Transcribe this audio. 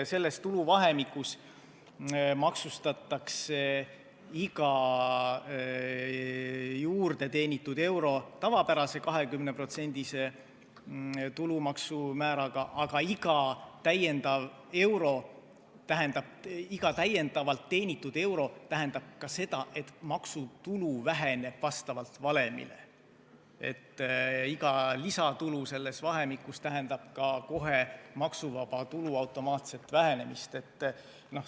Selles tuluvahemikus maksustatakse iga juurdeteenitud euro tavapärase 20%-lise tulumaksu määraga, aga iga täiendavalt teenitud euro tähendab ka seda, et maksuvaba tulu väheneb vastavalt valemile, lisatulu selles vahemikus tähendab kohe ka maksuvaba tulu automaatset vähenemist.